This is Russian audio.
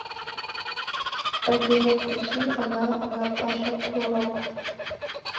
афина включи она она паша пророк